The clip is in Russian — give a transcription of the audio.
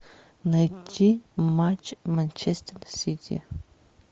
найти матч манчестер сити